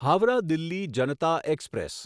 Howrah Delhi Janata express